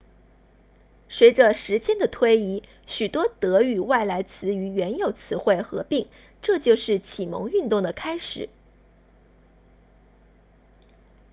随着时间的推移许多德语外来词与原有词汇合并这就是启蒙运动的开始